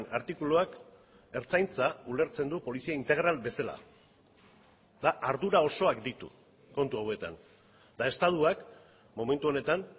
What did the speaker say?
artikuluak ertzaintza ulertzen du polizia integral bezala eta ardura osoak ditu kontu hauetan eta estatuak momentu honetan